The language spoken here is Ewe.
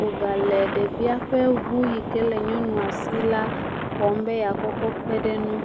wogale ɖevia ƒe ŋu yi ke le nyɔnua si la wɔm be yeakɔ kɔ kpe ɖe enu.